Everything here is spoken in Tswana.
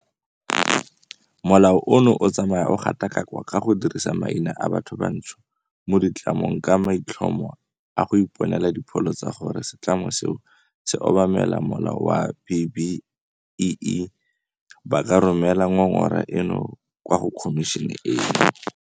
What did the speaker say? Molao ono o tsamaya o gatakakwa ka go dirisa maina a bathobantsho mo ditlamong ka maitlhomo a go iponela dipholo tsa gore setlamo seo se obamela molao wa B-BBEE, ba ka romela ngongora eno kwa go khomišene eno.